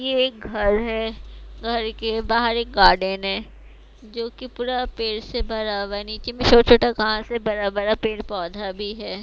ये एक घर है घर के बाहर एक गार्डन है जो कि पूरा पेड़ से भरा हुआ है नीचे में छोटा-छोटा घास है बरा बरा पेड़ पौधा भी है।